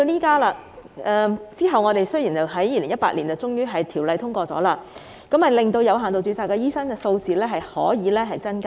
及後，有關條例草案在2018年獲得通過，令有限度註冊醫生的數目得以增加。